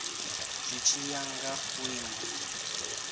zwi tshi ya nga vhuimo